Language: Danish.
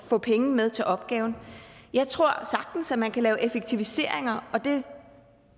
få penge med til opgaven jeg tror sagtens at man kan lave effektiviseringer og det